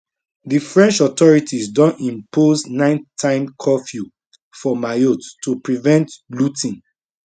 di french authorities don impose nighttime curfew for mayotte to prevent looting